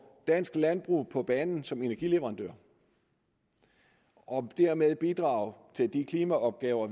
dansk landbrug på banen som energileverandør og dermed bidrage til de klimaopgaver